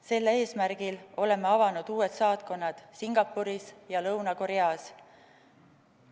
Sel eesmärgil oleme avanud uued saatkonnad Singapuris ja Lõuna-Koreas.